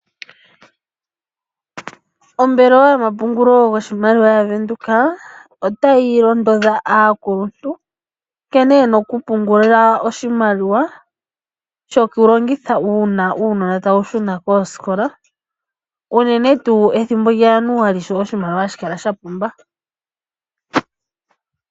Oombelewa yomapungulilo goshimaliwa yaVenduka otayi londodha aakuluntu nkene yena okupungula oshimaliwa shokulongitha uuna uunona tawu shuna koosikola unene tuu ethimbo lyaJanuali sho oshimaliwa hashi kala shapumba.